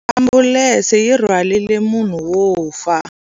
Ambulense yi rhwarile munhu wo fa.